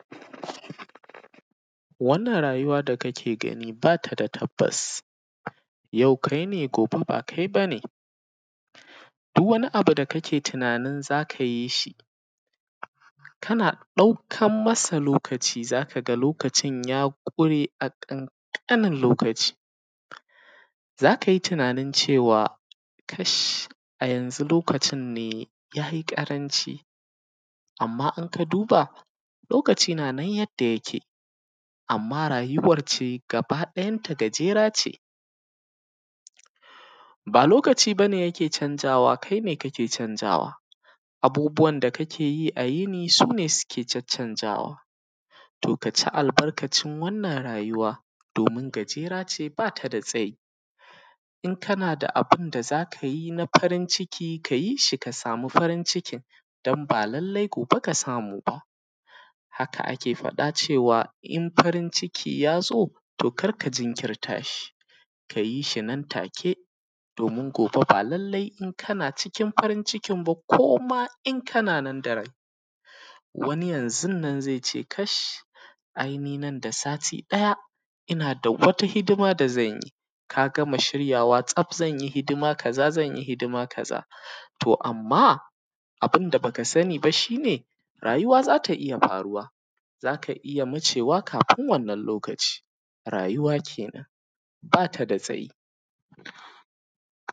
um wannan rayuwa da kake gani bata da tabbas, yau kaine gobe ba kai bane duwwani abu da kake tunanin zaka yishi kana ɗaukan masa lokaci zakaga lokacin ya ƙure a ƙanƙanin lokaci. Zakayi tunanin cewa kash a yanzu lokacinne yayi ƙaranci amma in kaduba lokaci nanan yanda yake amma rayuwance ga ba ɗayanta gajerace. Ba lokaci bane yake canjawa kaine kake canjawa abubuwan da kakeyi a yini sune suke caccanjawa, to kaci albarkacin wannan rayuwa domin jagerace bata da tsayi in kanada da abunda zakayi na farin ciki kayishi ka samu farin cikin dan ba lallai gobe ka samu ba. Haka ake faɗa cewa in farin ciki yazo karka jinkirtashi kayishinan take damin gobe balallai in kana cikin farin cikin ba koma in kananan darai. Wani yanzunnan zaice kash ai ninan da sati ɗaya innada wani mihimmin abunda zanyi kagama shiryawa tsaf zanyi hidima kaza zanyi hidima to amma abunda baka saniba shine rayuwa zata iyya faruwa zaka iyya wucewa kafin wannan lokacin rayuwa kenan batada tsayi.